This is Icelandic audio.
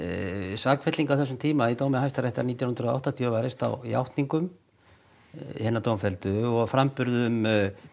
sakfelling á þessum tíma í dómi Hæstaréttar nítján hundruð og áttatíu var reist á játningum hinna dómfelldu og framburðum